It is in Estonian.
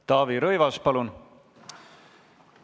Taavi Rõivas, palun!